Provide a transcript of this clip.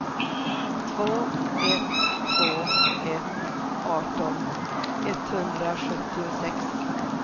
två ett två ett arton etthundrasjuttiosex